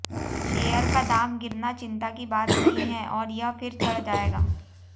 share का दाम गिरना चिंता की बात नहीं है और यह फिर चढ़ जाएगा